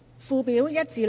附表1至6。